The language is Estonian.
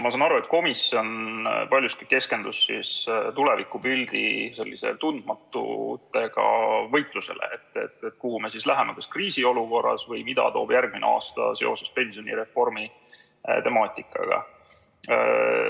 Ma saan aru, et komisjon paljuski keskendus tulevikupildi tundmatutega võitlusele, kuhu me siis läheme kriisiolukorras või mida toob järgmine aasta seoses pensionireformi temaatikaga.